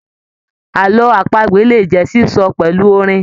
Àlọ apagbe le jẹ sísọ pẹlu orin.